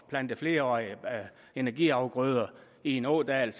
plante flerårige energiafgrøder i en ådal